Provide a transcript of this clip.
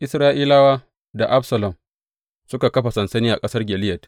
Isra’ilawa da Absalom suka kafa sansani a ƙasar Gileyad.